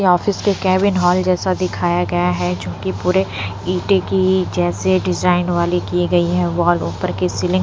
यहाँ ऑफिस के cabin hall जैसा दिखाया गया है जोकि पूरे ईटे की जैसे डिजाइन वाली की गई है वॉल ऊपर की सीलिंग --